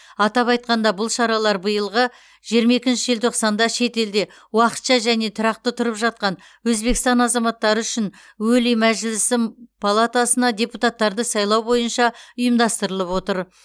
атап айтқанда бұл шаралар биылғы жиырма екінші желтоқсанда шетелде уақытша және тұрақты тұрып жатқан өзбекстан азаматтары үшін өлий мәжілісі палатасына депутаттарды сайлау бойынша ұйымдастырылып отыр